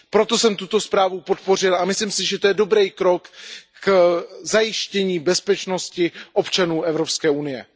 Proto jsem tuto zprávu podpořil a myslím si, že to je dobrý krok k zajištění bezpečnosti občanů Evropské unie.